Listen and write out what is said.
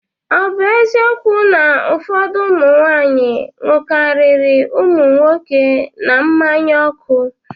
Ọ bụ eziokwu na ụfọdụ ụmụ nwaanyị ṅụkarịrị ụmụ nwoke na mmanya ọkụ?